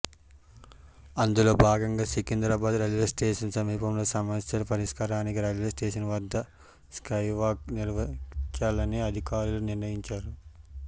అందులో భాగంగా సికింద్రాబాద్ రైల్వేస్టేషన్ సమీపంలో సమస్యల పరిష్కారానికి రైల్వేస్టేషన్ వద్ద స్కైవాక్ నిర్మించాలని అధికారులు నిర్ణయించారు